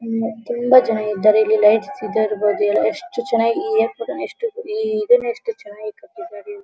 ಇಲ್ಲಿ ತುಂಬಾ ಜನ ಇದ್ದಾರೆ ಇಲ್ಲಿ ಲೈಟ್ಸ್ ಬಗ್ಗೆ ಎಲ್ಲ ಎಷ್ಟು ಚೆನ್ನಾಗಿ ಹೇಳ್ಕೊಟ್ಟು ಎಷ್ಟು ಇದೇನೇ ಎಷ್ಟು ಎಷ್ಟು ಚೆನ್ನಾಗಿ ಕಟ್ಟಿದ್ದಾರೆ.